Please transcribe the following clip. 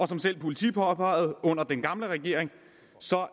som selv politiet påpegede under den gamle regering